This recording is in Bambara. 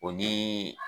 O ni